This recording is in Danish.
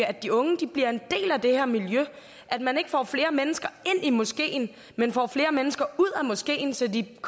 at de unge bliver en del af det her miljø at man ikke får flere mennesker ind i moskeen men får flere mennesker ud af moskeen så de